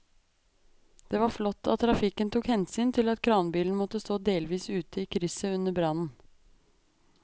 Det var flott at trafikken tok hensyn til at kranbilen måtte stå delvis ute i krysset under brannen.